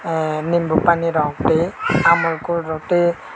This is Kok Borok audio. nimbo pani rok toi amul cool rok toi.